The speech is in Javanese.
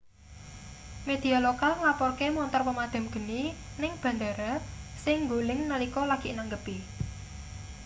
media lokal nglaporke montor pemadham geni ning bandhara sing nggoling nalika lagi nanggepi